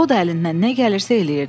O da əlindən nə gəlirsə eləyirdi.